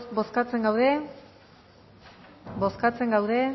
bozkatzen gaude bozkatzen gaude